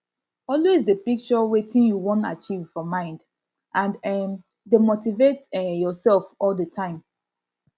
always de picture wetin you won achieve for mind and um de motivate um yourself all the time